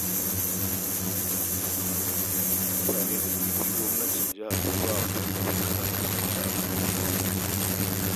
Mutane 200 gwamnatin jiha ta ba wa tallafin karatu a Kaduna